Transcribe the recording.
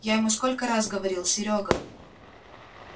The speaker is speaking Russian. я ему сколько раз говорил серёга